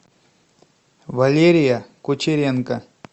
валерия кучеренко